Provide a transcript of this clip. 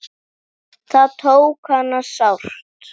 Það tók hana sárt.